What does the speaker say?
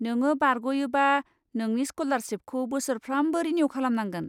नोङो बारग'योबा, नोंनि स्क'लारसिपखौ बोसोरफ्रामबो रिनिउ खालामनांगोन।